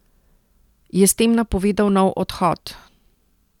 Je s tem napovedal nov odhod?